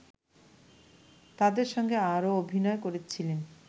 তাদের সঙ্গে আরও অভিনয় করেছিলেন